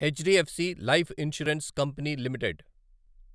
HDFC life insurance company limited